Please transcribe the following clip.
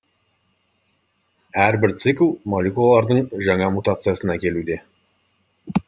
әрбір цикл молекулалардың жаңа мутациясын әкелуде